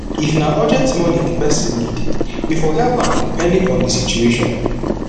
if na urgent money di person need you for help am depending on di situation